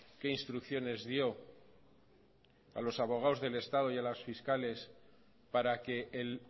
qué instrucciones dio a los abogados del estado y a los fiscales para que el